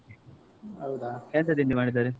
ಹೌದಾ? ಎಂತ ತಿಂಡಿ ಮಾಡಿದ್ದಾರೆ?